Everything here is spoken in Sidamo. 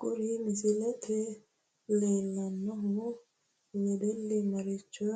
Kuri misilete leelanno wedelli maricho